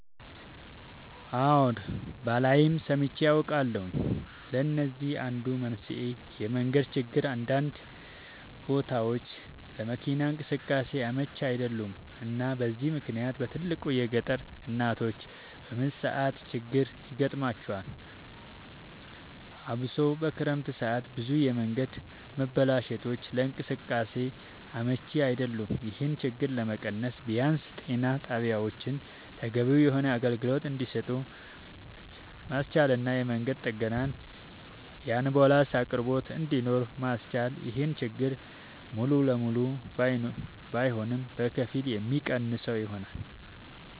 አወ ባላይም ሰምቼ አውቃለሁኝ ለዚህም አንዱ መንስኤ የመንገድ ችግር አንዳንድ ቦታወች ለመኪና እንቅስቃሴ አመች አይደሉም እና በዚህ ምክንያት በትልቁ የገጠር እናቶች በምጥ ሰዓት ችግር ይገጥማቸዋል አብሶ በክረምት ሰዓት ብዙ የመንገድ መበላሸቶች ለእንቅስቃሴ አመች አይደሉም ይሄን ችግር ለመቀነስ ቢያንስ ጤና ጣቢያወችን ተገቢውን የሆነ አገልግሎት እንድሰጡ ማስቻልና የመንገድ ጥገናና የአንቡላንስ አቅርቦት እንድኖር ማስቻል ይሄን ችግር ሙሉ ለሙሉ ባይሆንም በከፊል የሚቀንሰው ይሆናል